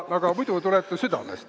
Aga muidu tuleb see südamest.